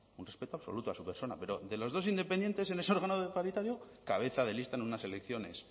un respeto absoluto a su persona pero de los dos independientes en ese órgano paritario cabeza de lista en unas elecciones